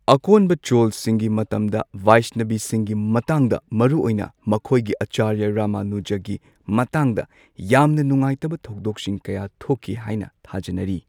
ꯑꯀꯣꯟꯕ ꯆꯣꯜꯁꯤꯡꯒꯤ ꯃꯇꯝꯗ ꯚꯩꯁꯅꯚꯤꯁꯤꯡꯒꯤ ꯃꯇꯥꯡꯗ ꯃꯔꯨꯑꯣꯏꯅ ꯃꯈꯣꯏꯒꯤ ꯑꯆꯥꯔꯌ ꯔꯃꯅꯨꯖꯒꯤ ꯃꯇꯥꯡꯗ ꯌꯥꯝꯅ ꯅꯨꯡꯉꯥꯏꯇꯕ ꯊꯧꯗꯣꯛꯁꯤꯡ ꯀꯌꯥ ꯊꯣꯛꯈꯤ ꯍꯥꯏꯅ ꯊꯥꯖꯅꯔꯤ꯫